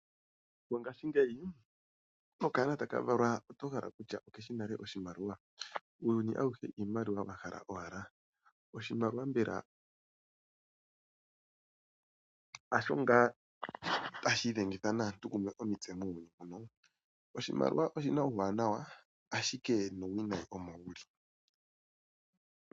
Mongashi ngeyi nokaana takavalwa otohala okutya okeshi nale oshimaliwa, uuyuni awuhe iimaliwa wahala owala, oshimaliwa mbela hasho nga tashidhengitha naantu omitse mumwe muuyuni muno, oshimaliwa oshina uuwanawa ashike nuuwinayi Omo wuli.